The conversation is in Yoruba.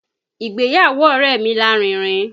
Ìgbéyàwó ọ̀rẹ́ mi lárinrin